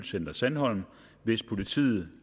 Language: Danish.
i center sandholm hvis politiet